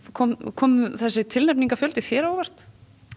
kom kom þessi þér á óvart